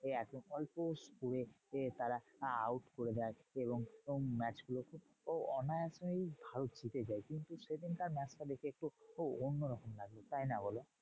এই অল্প score এ তারা out করে দেয়। এবং match গুলো কে অনায়াসেই ভারত জিতে যায়। কিন্তু সেদিনকার match টা দেখে একটু রকম লাগলো, তাইনা বলো?